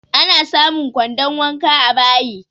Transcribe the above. Ana samun kwandon wanka a bayi